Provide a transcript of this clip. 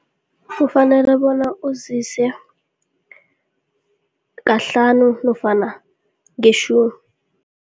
Kufanele bona uzise kahlanu nofana ngetjhumi.